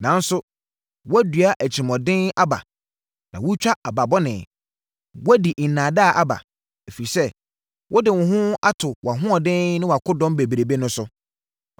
Nanso, woadua atirimuɔden aba, na woatwa aba bɔne. Woadi nnaadaa aba. Ɛfiri sɛ wode wo ho ato wʼahoɔden ne wʼakodɔm bebrebe no so,